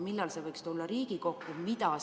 Millal see võiks tulla Riigikokku?